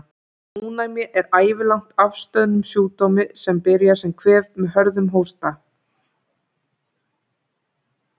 Ónæmi er ævilangt að afstöðnum sjúkdómi, sem byrjar sem kvef með hörðum hósta.